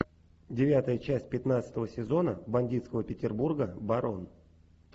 девятая часть пятнадцатого сезона бандитского петербурга барон